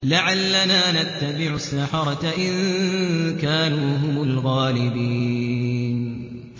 لَعَلَّنَا نَتَّبِعُ السَّحَرَةَ إِن كَانُوا هُمُ الْغَالِبِينَ